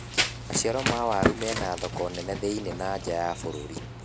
maciaro ma waru mena thoko nene thi-inĩ na nja wa bururi